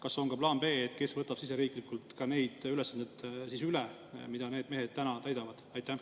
Kas on ka plaan B, kes võtab siseriiklikult need ülesanded üle, mida need mehed täidavad?